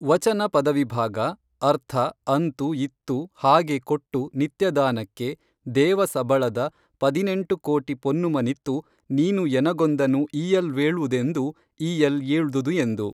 ವಚನ ಪದವಿಭಾಗ ಅರ್ಥ ಅಂತು ಇತ್ತು ಹಾಗೆ ಕೊಟ್ಟು ನಿತ್ಯದಾನಕ್ಕೆ ದೇವ ಸಬಳದ ಪದಿನೆಂಟು ಕೋಟಿ ಪೊನ್ನುಮನಿತ್ತು ನೀನು ಎನಗೊಂದನು ಈಯಲ್ವೇೞ್ದುದೆಂದು ಈಯಲ್ ಏೞ್ದುದು ಎಂದು